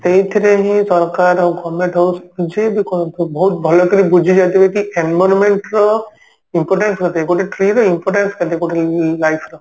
ସେଇଥିରେ ହିଁ ସରକାର government ହଉ ଯିଏ ବି କରନ୍ତୁ ବହୁତ ଭଲକିରି ବୁଝିଯାଇଥିବେ କି environment ର importance କେତେ ଗୋଟେ tree ର importance କେତେ ଗୋଟେ life ର